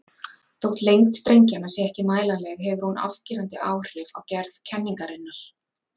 Þó lengd strengjanna sé ekki mælanleg hefur hún afgerandi áhrif á gerð kenningarinnar.